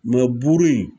buru in